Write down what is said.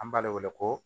An b'ale wele ko